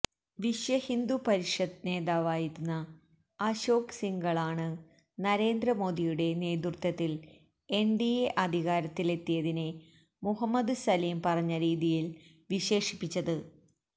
വിശ്വഹിന്ദു പരിഷത്ത് നേതാവായിരുന്ന അശോക് സിംഗാളാണ് നരേന്ദ്രമോദിയുടെ നേതൃത്വത്തില് എന്ഡിഎ അധികാരത്തിലെത്തിയതിനെ മുഹമ്മദ് സലീം പറഞ്ഞ രീതിയില് വിശേഷിപ്പിച്ചത്